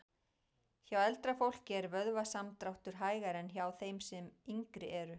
Hjá eldra fólki er vöðvasamdráttur hægari en hjá þeim sem yngri eru.